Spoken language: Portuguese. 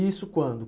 Isso quando?